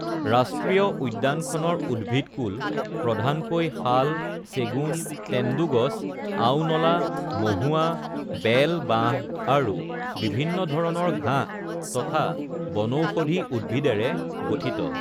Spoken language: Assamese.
ৰাষ্ট্ৰীয় উদ্যানখনৰ উদ্ভিদকূল প্ৰধানকৈ শাল, চেগুন, তেন্দুগছ, আওনলা, মহুৱা, বেল, বাঁহ, আৰু বিভিন্ন ধৰণৰ ঘাঁহ তথা বনৌষধি উদ্ভিদেৰে গঠিত।